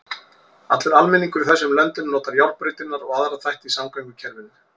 Allur almenningur í þessum löndum notar járnbrautirnar og aðra þætti í samgöngukerfinu.